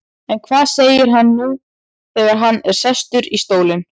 En hvað segir hann nú þegar hann er sestur í stólinn?